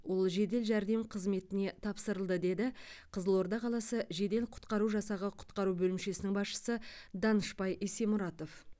ол жедел жәрдем қызметіне тапсырылды деді қызылорда қаласы жедел құтқару жасағы құтқару бөлімшесінің басшысы данышбай есемұратов